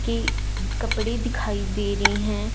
की कपड़े दिखाई दे रही हैं।